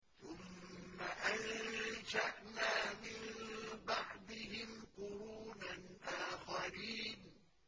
ثُمَّ أَنشَأْنَا مِن بَعْدِهِمْ قُرُونًا آخَرِينَ